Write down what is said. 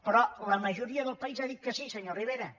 però la majoria del país ha dit que sí senyor rivera